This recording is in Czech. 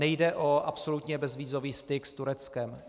Nejde o absolutně bezvízový styk s Tureckem.